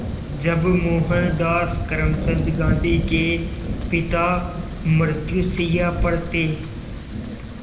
जब मोहनदास करमचंद गांधी के पिता मृत्युशैया पर थे